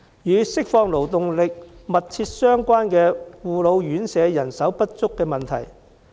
與釋放勞動力密切相關的是護老院舍人手不足的問題。